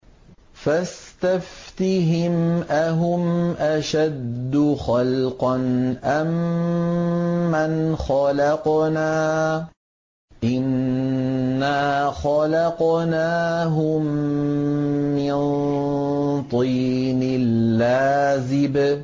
فَاسْتَفْتِهِمْ أَهُمْ أَشَدُّ خَلْقًا أَم مَّنْ خَلَقْنَا ۚ إِنَّا خَلَقْنَاهُم مِّن طِينٍ لَّازِبٍ